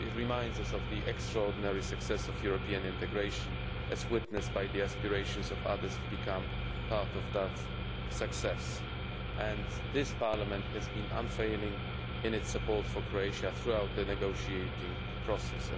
It reminds us of the extraordinary success of European integration as witnessed by the aspirations of others to become part of that success, and this Parliament has been unfailing in its support for Croatia throughout the negotiating process.